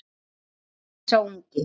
spyr sá ungi.